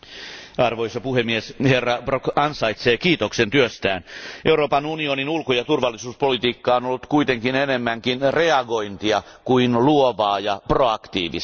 Arvoisa puhemies, Elmar Brok ansaitsee kiitoksen työstään, Euroopan unionin ulko ja turvallisuuspolitiikka on ollut kuitenkin enemmänkin reagointia kuin luovaa ja proaktiivista.